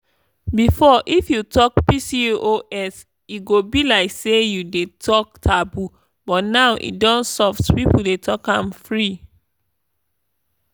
before if you talk pcos e go be like say you dey talk taboo but now e don soft people dey talk am free.